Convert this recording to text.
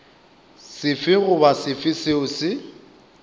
sefe goba sefe seo se